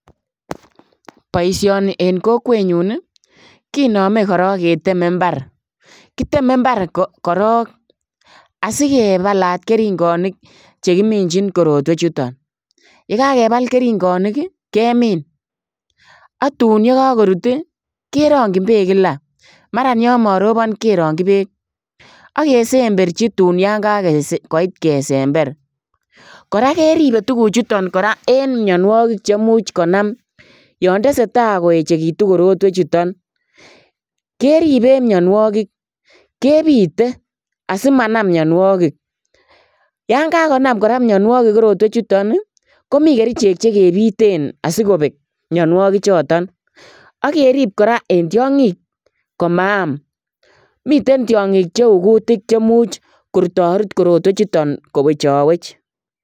Boisioni en kokwenyun kinome korong keteme imbar, kiteme imbar korong asikebalat keringonik chekiminchin korotwechuton, yekakebal keringonik kemin ak tun ye kokorut ii kerongchin beek kila, maran yon morobon kerongchi beek ak kesemberji tun yon kakoit kesember, koraa keribe tuguchuton koraa en mionuokik cheimuch konam yontesetaa koechekitu tuguchuton keribe en mionuokik kebite asimanam mionuokik yon kakonam koraa mionuokik tuguchuton komi kerichek chekibiten asikobek mionuokichoton ak kerib koraa en tiongik komaam miten tiongik cheu kutik chemuch korutorut korotwechuton kowechowech.